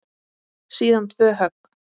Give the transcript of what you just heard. Síðan tvö högg.